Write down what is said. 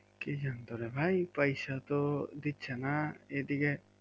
কি জানি তো রে ভাই পয়সা তো দিচ্ছেনা এদিকে